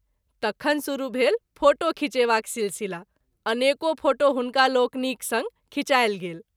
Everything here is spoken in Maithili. तखन शुरू भेल फोटो खींचेबाक शिशिला अनेको फोटो हुनका लोकनिक संग खीचायल गेल।